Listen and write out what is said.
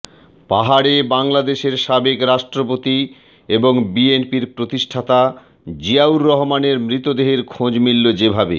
পাহাড়ে বাংলাদেশের সাবেক রাষ্ট্রপতি এবং বিএনপির প্রতিষ্ঠাতা জিয়াউর রহমানের মৃতদেহের খোঁজ মিলল যেভাবে